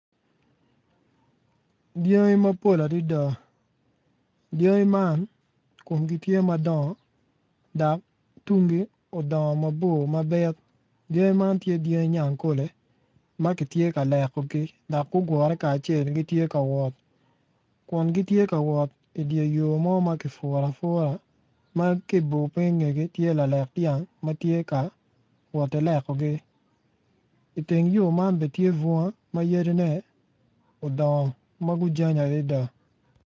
Dyangi mapol adada dyangi man komgi tye madongo dok tunggi odongo mabor mabit dyangi man tye dyangi nyankole ma kitye ka lekogi dok gugure kacel gitye ka wot kun gitye ka wot idye yo mo ma kipuro apura ma ki ibor piny ingegi tye lalek dyang ma gitye ka woti lekogi iteng yo man bene tye bunga ma yadine odongo ma gujany adada.